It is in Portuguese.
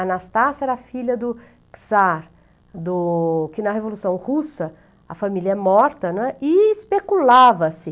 Anastácia era filha do Czar, do... que na Revolução Russa, a família é morta, né, e especulava-se.